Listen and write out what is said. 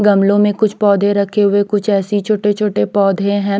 गमलों में कुछ पौधे रखे हुए कुछ ऐसी छोटे छोटे पौधे हैं।